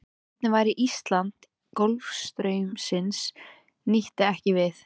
Hvernig væri Ísland ef golfstraumsins nyti ekki við?